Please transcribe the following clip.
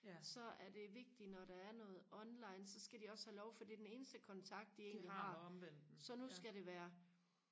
så er det vigtigt når der er noget online så skal de også have lov for det er den eneste kontakt de egentlig har så nu skal det være